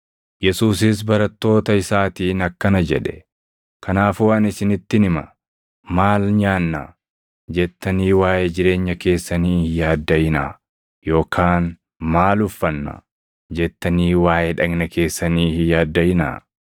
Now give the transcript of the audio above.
Yesuusis barattoota isaatiin akkana jedhe; “Kanaafuu ani isinittin hima; ‘maal nyaanna?’ jettanii waaʼee jireenya keessanii hin yaaddaʼinaa; yookaan ‘maal uffanna?’ jettanii waaʼee dhagna keessanii hin yaaddaʼinaa.